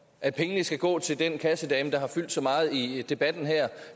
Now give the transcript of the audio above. at pengene skal gå til den kassedame der har fyldt så meget i debatten her